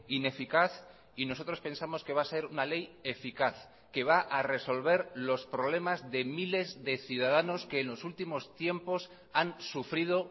ineficaz y nosotros pensamos que va a ser una ley eficaz que va a resolver los problemas de miles de ciudadanos que en los últimos tiempos han sufrido